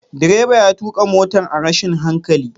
Direba ya tuka motar a rashin hankali.